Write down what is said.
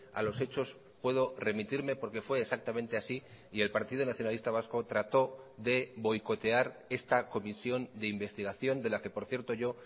a los hechos puedo remitirme porque fue exactamente así y el partido nacionalista vasco trató de boicotear esta comisión de investigación de la que por cierto yo